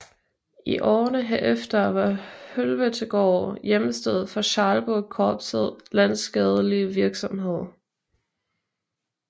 I årene herefter var Høveltegaard hjemsted for Schalburgkorpsets landsskadelige virksomhed